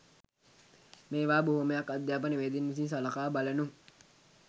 මේවා බොහොමයක් අධ්‍යාපනවේදීන් විසින් සලකා බලනු